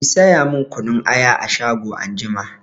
Ki saya min kunun aya a shago anjima!